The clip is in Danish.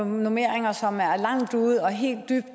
normeringer som er langt ude og helt og